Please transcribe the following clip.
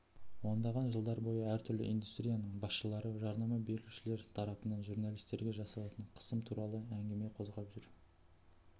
ондаған жылдар бойы әртүрлі индустрияның басшылары жарнама берушілер тарапынан журналистерге жасалатын қысым туралы әңгіме қозғап жүр